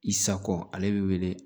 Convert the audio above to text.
I sako ale bɛ wele